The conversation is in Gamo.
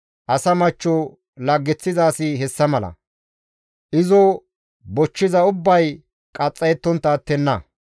Asa machcho laggeththiza asi hessa mala; izo bochchiza ubbay qaxxayettontta attenna.